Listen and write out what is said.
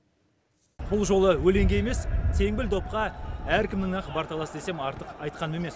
бұл жолы өлеңге емес теңбіл допқа әркімнің ақ бар таласы десем артық айтқаным емес